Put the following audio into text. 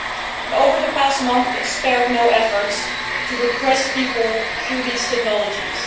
and over the past month, it spared no efforts to repress people through these technologies.